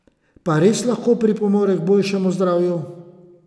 Pa res lahko pripomore k boljšemu zdravju?